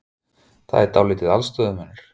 Það er dálítill aðstöðumunur?